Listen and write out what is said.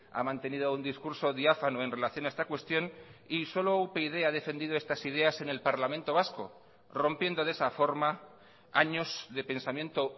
ha mantenido un discurso diáfano en relación a esta cuestión y solo upyd ha defendido estas ideas en el parlamento vasco rompiendo de esa forma años de pensamiento